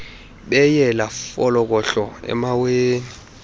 beyela folokohlo emaweni